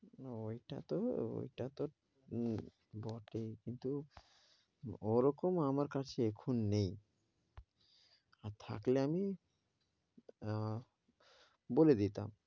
ওইটা, তো ওইটা তো বটেই, কিন্তু ও রকম আমার কাছে এখন নেই আর থাকলে আমি আহ বলে দিতাম।